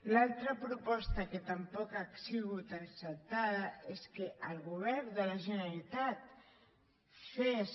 l’altra proposta que tampoc ha sigut acceptada és que el govern de la generalitat fes